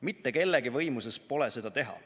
Mitte kellegi võimuses pole seda teha.